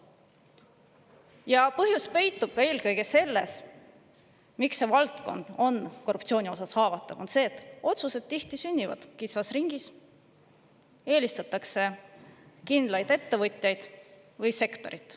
Ja põhjus, miks see valdkond on korruptsiooni poolt haavatav, peitub eelkõige selles, et otsused tihti sünnivad kitsas ringis, eelistatakse kindlaid ettevõtjaid või sektorit.